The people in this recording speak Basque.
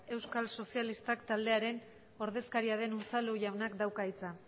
euskal sozialistak taldearen ordezkaria den unzalu jaunak dauka hitza